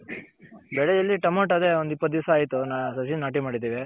ಬೆಳೆ ಇಲ್ಲಿ ಟಮೋಟೂ ಅದೆ ಒಂದ್ ಇಪ್ಪತ್ ದಿಸ ಆಯ್ತು ಸಸಿ ನಾಟಿ ಮಾಡಿದಿವಿ.